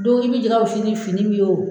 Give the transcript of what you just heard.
i bɛ jɛ ka fini fini min ye o.